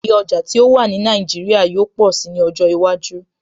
Iye ọjà tí ó wà wà ní Nàìjíríà yóó pọ̀si ní ọjọ́ iwájú